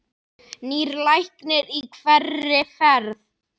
Nýr læknir í hverri ferð.